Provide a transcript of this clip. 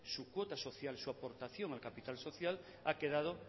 su cuota social su aportación al capital social ha quedado